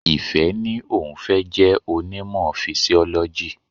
Ìfẹ́ ní òun fẹ́ jẹ́ onímọ̀ Fisiọ́lọ́jì.